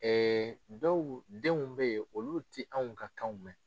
Ɛɛ dɔw denw be yen , olu ti anw ka kanw mɛn.